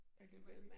Det var